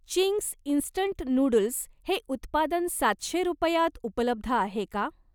Ching's instant noodles हे उत्पादन सातशे रुपयात उपलब्ध आहे का?